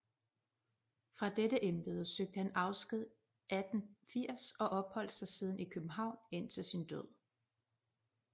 Fra dette embede søgte han afsked 1880 og opholdt sig siden i København indtil sin død